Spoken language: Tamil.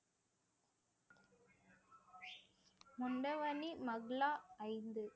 ஐந்து